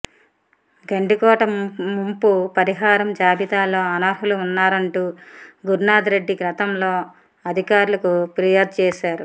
గండికోట ముంపు పరిహారం జాబితాలో అనర్హులు ఉన్నారంటూ గురునాథ్రెడ్డి గతంలో అధికారులకు ఫిర్యాదు చేశారు